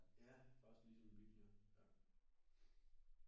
Ja faktisk ligesom en bil ja ja